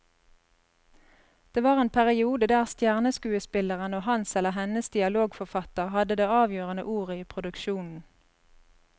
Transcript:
Det var en periode der stjerneskuespilleren og hans eller hennes dialogforfatter hadde det avgjørende ordet i produksjonen.